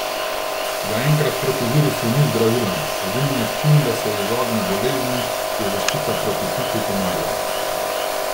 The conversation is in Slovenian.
Zaenkrat proti virusu ni zdravila, edini način, da se izogne bolezni, je zaščita proti piku komarjev.